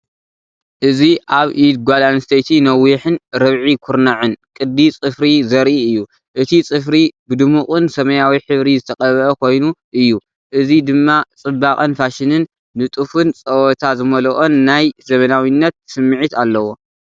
እዚ ኣብ ኢድ ጓል ኣንስተይቲ ነዊሕን ርብዒ ኩርናዕን ቅዲ ጽፍሪ ዘርኢ እዩ። እቲ ጽፍሪ ብድሙቕን ሰማያዊ ሕብሪ ዝተቐብአ ኮይኑ እዩ። እዚ ድማ ጽባቐን ፋሽንን! ንጡፍን ጸወታ ዝመልኦን ናይ ዘመናዊነት ስምዒት ኣለዎ።